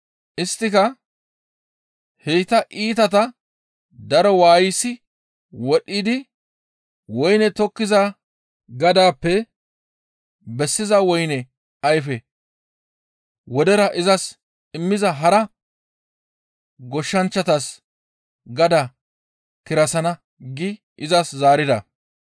Isttika, «Heyta iitata daro waayisi wodhidi woyney tokettiza gadaappe bessiza woyne ayfe wodera izas immiza hara goshshanchchatas gadaa kirasana» gi izas zaarida.